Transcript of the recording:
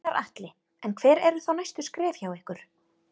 Gunnar Atli: En hver eru þá næstu skref hjá ykkur?